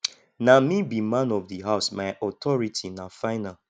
na me be man of di house my authority na final